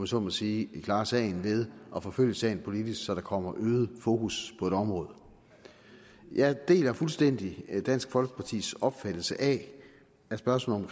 så må sige kan klare sagen ved at forfølge sagen politisk så der kommer øget fokus på et område jeg deler fuldstændig dansk folkepartis opfattelse af at spørgsmålet